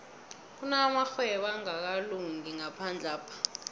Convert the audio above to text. kunamarhwebo angakalungi ngaphandlapha